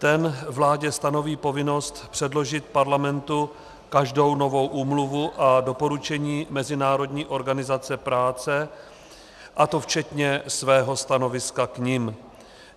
Ten vládě stanoví povinnost předložit Parlamentu každou novou úmluvu a doporučení Mezinárodní organizace práce, a to včetně svého stanoviska k nim.